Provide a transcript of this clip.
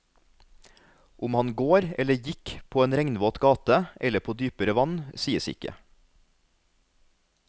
Om han går eller gikk på en regnvåt gate eller på dypere vann, sies ikke.